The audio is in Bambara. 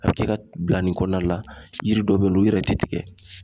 A bɛ kɛ ka bila nin kɔnɔna la yiri dɔ bɛ yen nɔ u yɛrɛ tɛ tigɛ